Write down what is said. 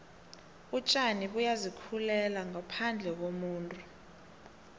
utjani buyazi khulela ngophandle kumuntu